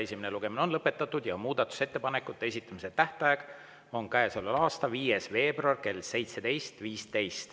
Esimene lugemine on lõpetatud ja muudatusettepanekute esitamise tähtaeg on käesoleva aasta 5. veebruar kell 17.15.